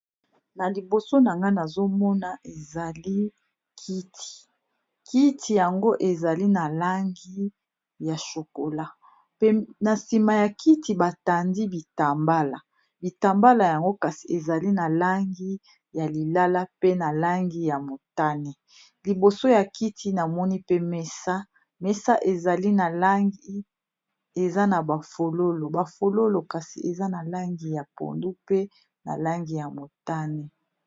na liboso na nga nazomona ezali kiti kiti yango ezali na langi ya shokola pena nsima ya kiti batandi bitambala bitambala yango kasi ezali na langi ya lilala pe na langi ya motane liboso ya kiti namoni pe mesa mesa ezali na langi eza na bafololo bafololo kasi eza na langi ya pondu pe na langi ya motane